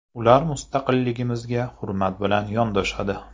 Ular mustaqilligimizga hurmat bilan yondoshadi.